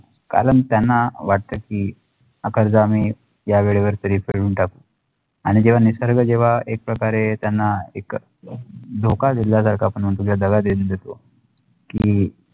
कारण त्यांना वाटते की हा कर्ज आम्ही या वेळेवर तरी फेडून टाकू आणि जेव्हा निसर्ग जेव्हा एक प्रकारे त्यांना एक धोका दिल्यासारखा आपण म्हणतो जे दगा देऊन देतो की